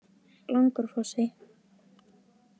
Langárfossi